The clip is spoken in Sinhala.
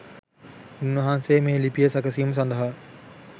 උන් වහන්සේ මේ ලිපිය සැකසීම සඳහා